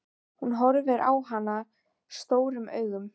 Hún horfir á hana stórum augum.